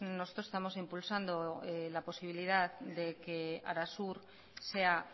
nosotros estamos impulsando la posibilidad de que arasur sea